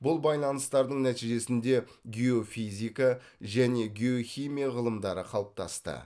бұл байланыстардың нәтижесінде геофизика және геохимия ғылымдары қалыптасты